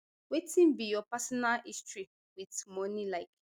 wetin be your personal history wit money like